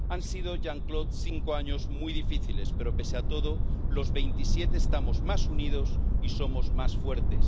Han sido Jean Claude cinco años muy difíciles, pero pese a todo los Veintisiete estamos más unidos y somos más fuertes.